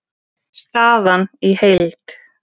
Staðan í heild